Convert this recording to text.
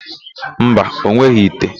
Mba, o nweghị ite.